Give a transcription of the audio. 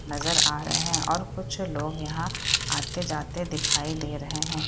नज़र आ रहे हैं और कुछ लोग यहाँ आते-जाते दिखाई दे रहे हैं।